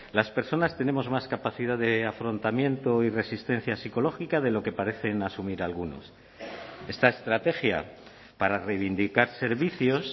las personas tenemos más capacidad de afrontamiento y resistencia psicológica de lo que parecen asumir algunos esta estrategia para reivindicar servicios